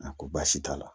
A ko baasi t'a la